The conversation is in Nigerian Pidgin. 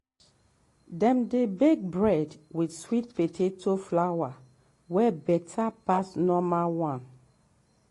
dem dey bake bread with sweet potato flour wey better pass normal one.